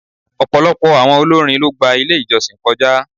Ọ̀pọ̀lọpọ̀ àwọn olórin ló gba ilé ìjọsìn kọjá.